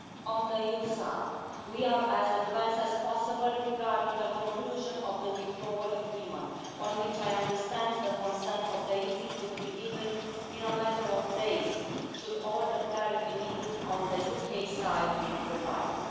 On the EU side, we are as advanced as possible regarding the conclusion of the Withdrawal Agreement, on which I understand the consent of the European Parliament could be given in a matter of days, should all the clarity needed on the UK side be provided.